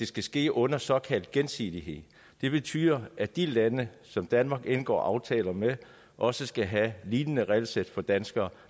skal ske under såkaldt gensidighed det betyder at de lande som danmark indgår aftaler med også skal have et lignende regelsæt for danskere